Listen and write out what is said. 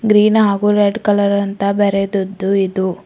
Green ಹಾಗು red colour ಅಂತ ಬರೆದುದ್ದು ಇದು.